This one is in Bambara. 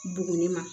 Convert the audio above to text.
Buguni ma